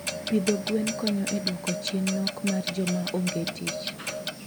Pidho gwen konyo e dwoko chien nok mar joma onge tich.